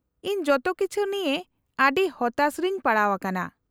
-ᱤᱧ ᱡᱚᱛᱚ ᱠᱤᱪᱷᱩ ᱱᱤᱭᱟᱹ ᱟᱹᱰᱤ ᱦᱚᱛᱟᱥ ᱨᱮᱧ ᱯᱟᱲᱟᱣ ᱟᱠᱟᱱᱟ ᱾